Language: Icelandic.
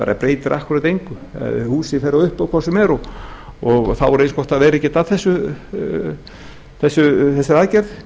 það breytir akkúrat engu húsið fer á uppboð hvort sem er og þá er eins gott að vera ekki að þessari aðgerð